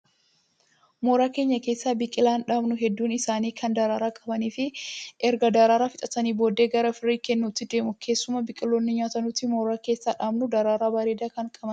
Mooraa keenya keessa biqilaan dhaabnu hedduun isaanii kan daraaraa qabanii fi erga daraaraa fixatanii booddee gara firii kennuutti deemu. Keessumaa biqiloonni nyaataa nuti mooraa keessa dhaabnu daraaraa bareedaa kan qabanidha.